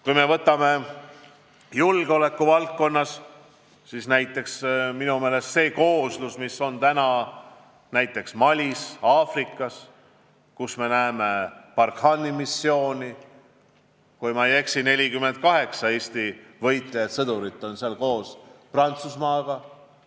Kui me võtame julgeoleku valdkonna, siis praegu on näiteks Malis Aafrikas, kus toimub Barkhane missioon, kui ma ei eksi, 48 Eesti võitlejat koos Prantsusmaa,